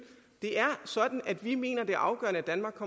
det er sådan at vi mener at det er afgørende at danmark